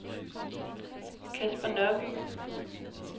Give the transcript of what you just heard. Caspar Nørby